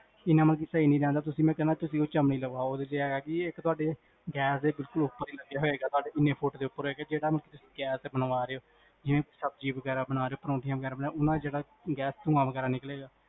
ਇੰਨਾ ਮਤਲਬ ਕੀ ਸਹੀ ਨੀ ਰਹੰਦਾ ਮੈਂ ਕਹਨਾ ਤੁਸੀਂ ਓਹ ਚਿਮਨੀ ਲ੍ਵਾਓ ਓਦੇ ਚ ਹੈਗਾ ਕੀ ਇਕ ਤਵਾਡੀ ਗੈਸ ਦੇ ਬਿਲਕੁਲ ਉਪਰ ਲਗਿਆ ਹੋਏਗਾ ਇੰਨੇ ਫ਼ੂਟ